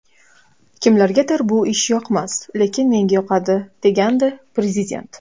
Kimlargadir bu ish yoqmas, lekin menga yoqadi” degandi Prezident.